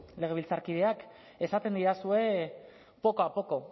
legebiltzarkideak esaten didazue poco a poco